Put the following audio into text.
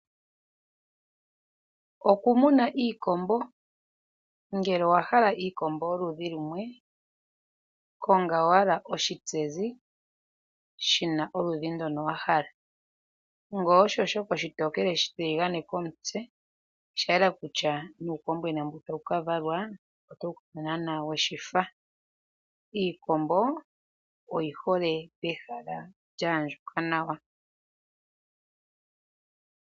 Oku muna iikombo ngele owahala iikombo yoludhi lumwe. konga wala oshintsenzi shina oludhi ndoka wahala nge osho shoka oshitokele, oshitiligane komutse sha yela kutya nuukombwena mbu tawu ka valwa otawu kala nana weshifa. Iikombo oyi hole pehala lyaandjuka nawa.